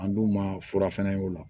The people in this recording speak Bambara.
An dun ma fura fɛnɛ y'o la